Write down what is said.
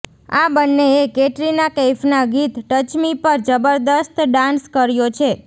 આ બંનેએ કેટરિના કૈફના ગીત ટચ મી પર જબરદસ્ત ડાન્સ કર્યો છે